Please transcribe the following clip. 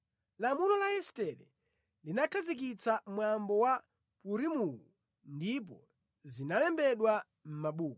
Lamulo la Estere linakhazikitsa mwambo wa Purimuwu ndipo zinalembedwa mʼmabuku.